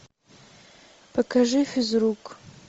покажи физрук